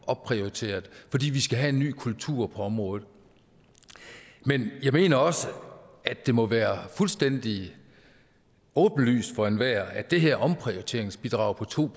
opprioriteret fordi vi skal have en ny kultur på området men jeg mener også at det må være fuldstændig åbenlyst for enhver at det her omprioriteringsbidrag på to